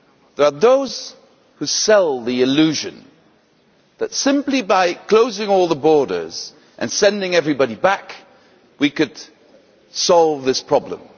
There are those who sell the illusion that simply by closing all the borders and sending everybody back we could solve this problem.